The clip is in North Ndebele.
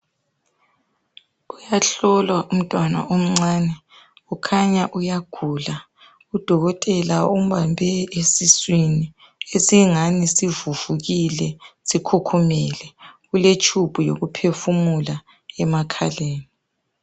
Kuyahlolwa umntwana omncane. Kukhanya uyagula. Udokotela umbambe esiswini, esingani sivuvukile. Sikhukhumele. Uletshubhu yokuphefumula emakhaleni.